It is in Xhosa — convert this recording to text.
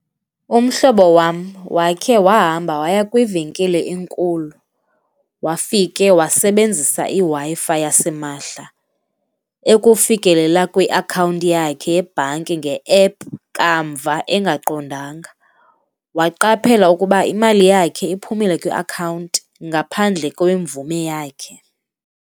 Umhlobo wam wakhe wahamba waya kwivenkile enkulu wafike wasebenzisa iWi-Fi yasimahla, ekufikelela kwiakhawunti yakhe yebhanki nge-ephu kamva engaqondanga. Waqaphela ukuba imali yakhe iphumile kwiakhawunti ngaphandle kwemvume yakhe.